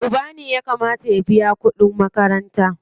Uba ne ya kamata ya biya kuɗin makaranta.